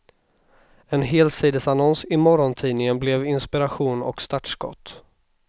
En helsidesannons i morgontidningen blev inspiration och startskott.